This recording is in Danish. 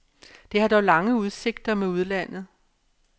Det har dog lange udsigter med udlandet.